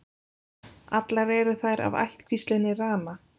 Allar eru þær af ættkvíslinni Rana.